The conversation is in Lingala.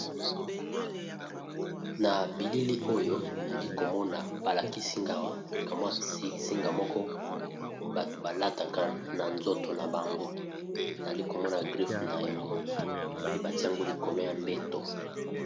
Na bilili oyo nazali komona balakisi nga awa singa moko bato balataka na nzoto na bango, Nazali komona griffe na yango, pe batie yango likolo ya mbeto.